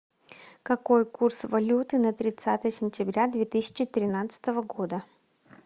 какой курс валюты на тридцатое сентября две тысячи тринадцатого года